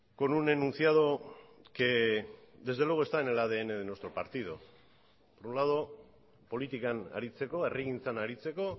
con un enunciado que desde luego está en el adn de nuestro partido por un lado politikan aritzeko herrigintzan aritzeko